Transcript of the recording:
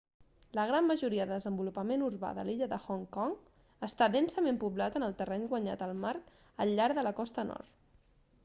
la gran majoria del desenvolupament urbà de l'illa de hong kong està densament poblat en terreny guanyat al mar al llarg de la costa nord